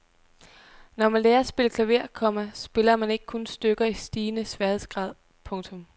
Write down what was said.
Når man lærer at spille klaver, komma spiller man ikke kun stykker i stigende sværhedsgrad. punktum